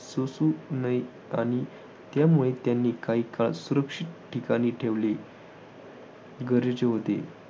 सोसू नये आणि त्यामुळे त्यांना काही काळ सुरक्षित ठिकाणी ठेवणे गरजेचे होते.